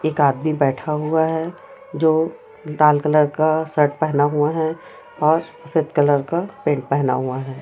एक आदमी बैठा हुआ है जो लाल कलर का शर्ट पहना हुआ है और सफेद कलर का पेंट पहना हुआ है।